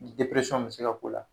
Deperesɔn be se ka k'o la